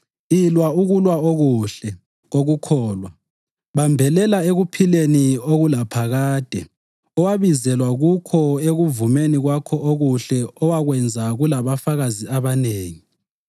Ilwa ukulwa okuhle kokukholwa. Bambelela ekuphileni okulaphakade owabizelwa kukho ekuvumeni kwakho okuhle owakwenza kulabafakazi abanengi.